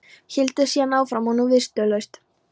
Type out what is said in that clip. Héldi síðan áfram og nú viðstöðulaust